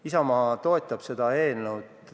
Isamaa toetab seda eelnõu.